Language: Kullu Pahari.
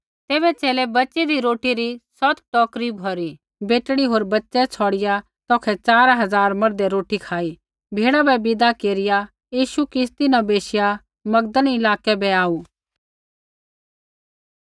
भीड़ा बै विदा केरिया यीशु किश्ती न बैशिया मगदन इलाकै बै आऊ